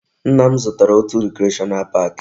Nna m zụtara òtù recreational park